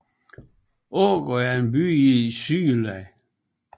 Ågård er en by i Sydjylland